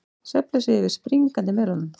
Svefnleysi yfir springandi melónum